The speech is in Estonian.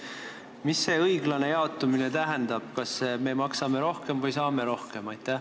Mis see õiglane jaotamine tähendab, kas me maksame rohkem või saame rohkem?